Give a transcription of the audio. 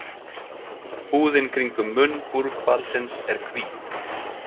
Húðin kringum munn búrhvalsins er hvít.